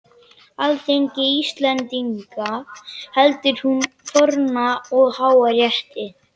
Alþingi Íslendinga heldur sínum forna og háa rétti!